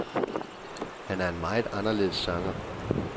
Han er en meget anderledes sanger.